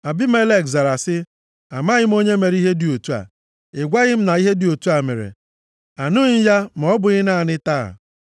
Abimelek zara sị, “Amaghị m onye mere ihe dị otu a. Ị gwaghị m na ihe dị otu a mere, anụghị m ya ma ọ bụghị naanị taa.”